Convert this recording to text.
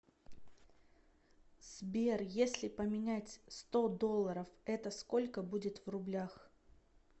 сбер если поменять сто долларов это сколько будет в рублях